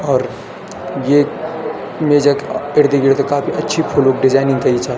और येक मेज क इर्द गिर्द काफी अच्छी फूलुक डिजाइनिंग तई चा।